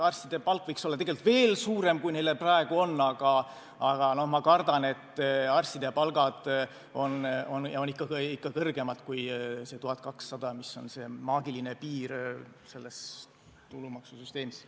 Arstide palk võiks olla tegelikult veel suurem, kui neil praegu on, aga ma kardan, et arstide palgad on ikka kõrgemad kui see 1200, mis on maagiline piir selles tulumaksusüsteemis.